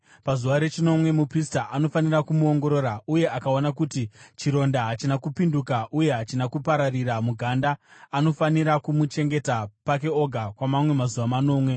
Pazuva rechinomwe muprista anofanira kumuongorora uye akaona kuti chironda hachina kupinduka uye hachina kupararira muganda anofanira kumuchengeta pake oga kwamamwe mazuva manomwe.